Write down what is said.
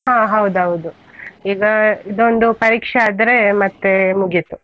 ಹ ಹೌದೌದು, ಈಗ ಇದೊಂದು ಪರೀಕ್ಷೆ ಆದ್ರೆ ಮತ್ತೆ ಮುಗೀತು.